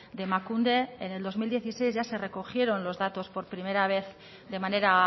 de emakunde en el dos mil dieciséis ya se recogieron los datos por primera vez de manera